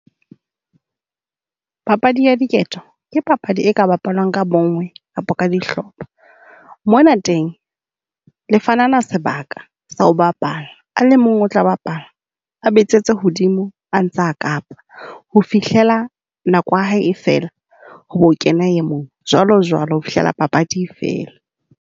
Papadi ya diketso ke papadi e ka bapalwang ka bonngwe kapo ka dihlopha. Mo na teng le fanana sebaka sa ho bapala, a le mong o tla bapala, a betsetsa hodimo a ntsa kapa ho fihlela nako ya hae fela, ho bo kena e mong. Jwalo jwalo ho fihlela papadi e fela.